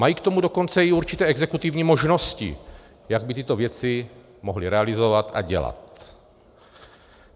Mají k tomu dokonce i určité exekutivní možnosti, jak by tyto věci mohly realizovat a dělat.